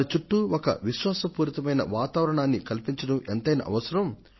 వారి చుట్టూ ఒక విశ్వాస పూరితమైన వాతావారణాన్ని కల్పించడం ఎంతైనా అవసరం